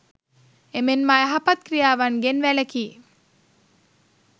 එමෙන්ම අයහපත් ක්‍රියාවන්ගෙන් වැළකී